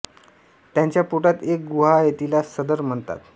त्याच्या पोटात एक गुहा आहे तिला सदर म्हणतात